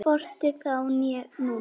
Hvorki þá né nú.